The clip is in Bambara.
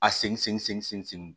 A segin sen